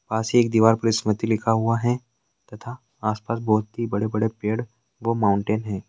पास ही एक दीवार पर लिखा हुआ है तथा आस पास बहुत ही बड़े बड़े पेड़ व माउंटेन है।